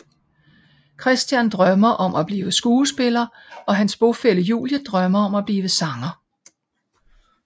Christian drømmer om at blive skuespiller og hans bofælle Julie drømmer om at blive sanger